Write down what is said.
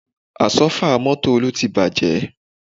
Àsọ́fà mọ́tò Olú ti bàjẹ́